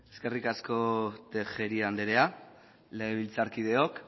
eskerrik asko tejeria anderea legebiltzarkideok